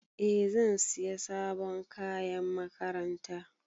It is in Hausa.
Eh zan siya sabon kayan makaranta.